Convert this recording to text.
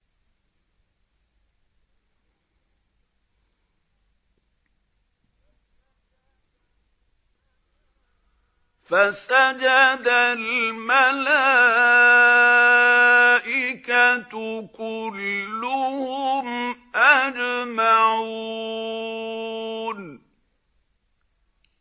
فَسَجَدَ الْمَلَائِكَةُ كُلُّهُمْ أَجْمَعُونَ